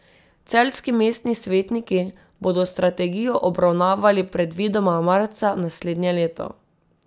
Celjski mestni svetniki bodo strategijo obravnavali predvidoma marca naslednje leto.